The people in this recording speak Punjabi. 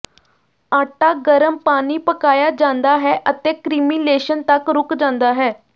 ਆਟਾ ਗਰਮ ਪਾਣੀ ਪਕਾਇਆ ਜਾਂਦਾ ਹੈ ਅਤੇ ਕ੍ਰੀਮੀਲੇਸ਼ਨ ਤੱਕ ਰੁਕ ਜਾਂਦਾ ਹੈ